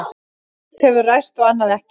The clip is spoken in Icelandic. Sumt hefur ræst og annað ekki.